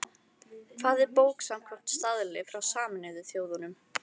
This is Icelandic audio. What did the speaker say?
Hvað er bók samkvæmt staðli frá Sameinuðu þjóðunum?